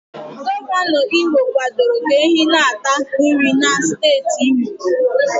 Gọvanọ Imo kwadoro ka ehi na-ata nri na steeti imo